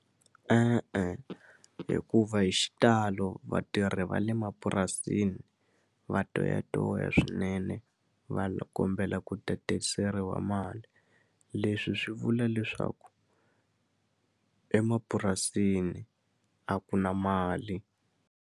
E-e hikuva hi xitalo vatirhi va le mapurasini va toyatoya swinene va kombela ku tatiseriwa wa mali leswi swi vula leswaku emapurasini a ku na mali.